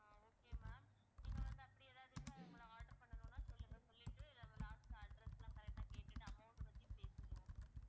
ஆஹ் okay ma'am நீங்க வந்து அப்படி ஏதாச்சும் order பண்ணனும்னா சொல்லுங்க சொல்லிட்டு last address லாம் correct ஆ கேட்டுட்டு amount பத்தி பேசிக்குவோம்